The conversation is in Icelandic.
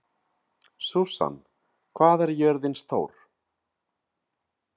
Susan, hvað er jörðin stór?